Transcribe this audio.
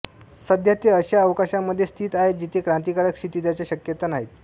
सध्या ते अशा अवकाशामध्ये स्थित आहे जिथे क्रांतिकारक क्षितीजाच्या शक्यता नाहीत